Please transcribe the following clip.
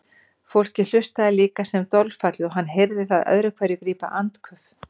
Fólkið hlustaði líka sem dolfallið og hann heyrði það öðru hverju grípa andköf.